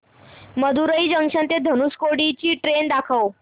Madurai junction ते धनुषकोडी ची train दाखव